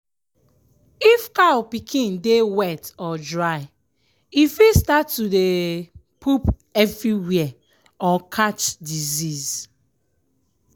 if cow pikin dey wet or dry e fit start to dey um poop everywhere or catch disease.